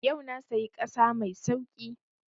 Yau na sayi ƙasa mai sauƙi